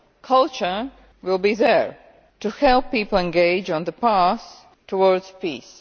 culture will be there to help people engage on the path towards peace.